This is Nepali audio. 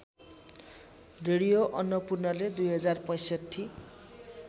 रेडियो अन्नपूर्णले २०६५